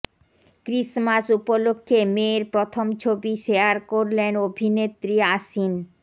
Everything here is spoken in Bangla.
ক্রিসমাস উপলক্ষ্যে মেয়ের প্রথম ছবি শেয়ার করলেন অভিনেত্রী আসিন